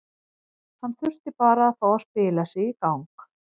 Hann þurfti bara að fá að spila sig í gang.